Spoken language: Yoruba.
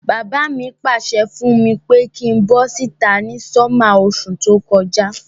Bàbá mi pàsẹ fùn mi pe kin bo síta ni summer osú to kojá